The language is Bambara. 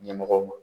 Ɲɛmɔgɔw ma